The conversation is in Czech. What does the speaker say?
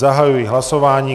Zahajuji hlasování.